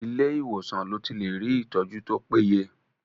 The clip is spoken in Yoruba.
Ilé ìwòsàn lo ti lè rí ìtọ́jú tó péye.